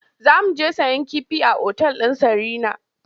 Za mu je sayen kifi a otal ɗin Sarina.